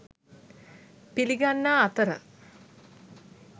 පිළිගන්නා අතර